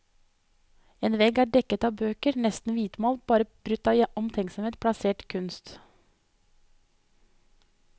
En vegg er dekket av bøker, resten hvitmalt, bare brutt av omtenksomt plassert kunst.